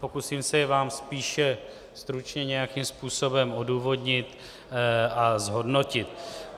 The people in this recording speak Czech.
Pokusím se vám je spíše stručně nějakým způsobem odůvodnit a zhodnotit.